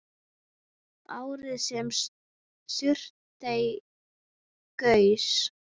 Árið sem Surtsey gaus.